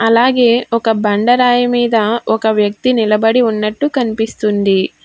అలాగే ఒక బండ రాయి మీద ఒక వ్యక్తి నిలబడి ఉన్నట్టు కనిపిస్తుంది.